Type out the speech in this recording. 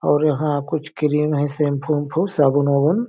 और यह कुछ क्रीम है शैंपू उम्पू साबुन-उबून--